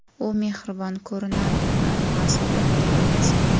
U mehribon ko‘rinardi, ammo aslida unday emasdi.